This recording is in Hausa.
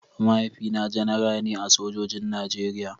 Mahaifina Janara ne a sojojin Najeriya.